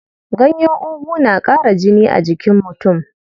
Ganyen ugu na ƙara jini a jikin mutum.